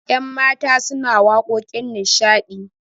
yanmata suna waƙoƙin nishadi